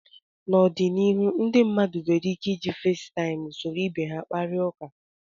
N'ọdịnihu ndị mmadụ nwere ike iji Festaịmụ soro ibe ha kpakọrịta ụka